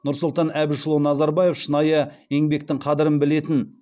нұрсұлтан әбішұлы назарбаев шынайы еңбектің қадірін білетін